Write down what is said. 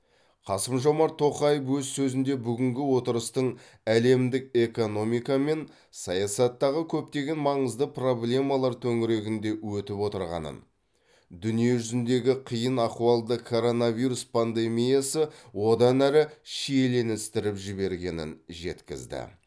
қасым жомарт тоқаев өз сөзінде бүгінгі отырыстың әлемдік экономика мен саясаттағы көптеген маңызды проблемалар төңірегінде өтіп отырғанын дүниежүзіндегі қиын ахуалды коронавирус пандемиясы одан әрі шиеленістіріп жібергенін жеткізді